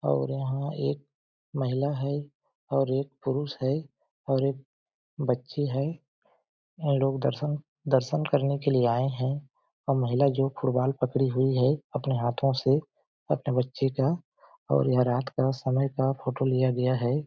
और यहाँ एक महिला है और एक पुरुष है और एक बच्ची है ये लोग दर्शन दर्शन करने के लिए आए है और महिला जो फुटबॉल पकड़ी हुई है अपने हाथों से अपने बच्चे का और यह रात का समय का फ़ोटो लिया गया हैं ।